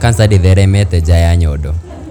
kanca ndĩtheremete nja ya nyondo.